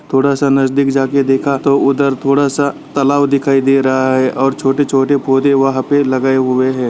थोड़ा सा नजदीक जाके देखा तो उधर थोड़ा सा तालाब दिखाई दे रहा है और छोटे छोटे पोधे वहाँ पे लगाये हुए हैं ।